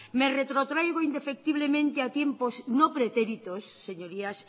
me retrotraigo indefectiblemente a tiempos no pretéritos señorías